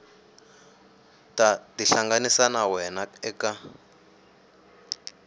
ta tihlanganisa na wena eka